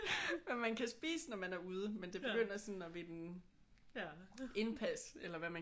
Hvad man kan spise når man er ude men det begynder sådan at vinde indpas eller hvad man